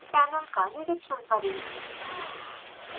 panel का निरिक्षण करें